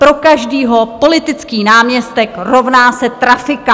Pro každého politický náměstek rovná se trafika.